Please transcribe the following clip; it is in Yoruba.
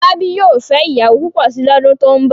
Fọlábí yóò fẹ́ ìyàwó púpọ̀ si lọ́dún tó ń bọ̀.